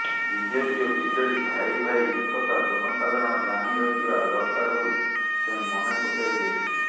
BJP ଓ BJD ଭାଇଭାଇ ଏକଥା ଜନସାଧାରଣ ଜାଣିରଖିବା ଦରକାର ବୋଲି ସେ ମନେପକାଇ ଦେଇଛନ୍ତି